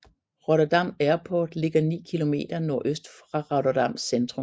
Rotterdam Airport ligger 9 km nordøst fra Rotterdams Centrum